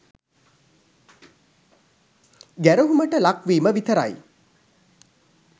ගැරහුමට ලක්වීම විතරයි.